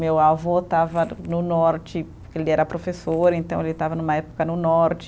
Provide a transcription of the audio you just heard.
Meu avô estava no norte, ele era professor, então ele estava numa época no norte.